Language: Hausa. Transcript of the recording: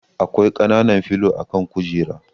Akwai kanan filo a kan kujera.